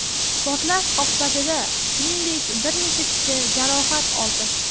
Portlash oqibatida, shuningdek, bir necha kishi jarohat oldi.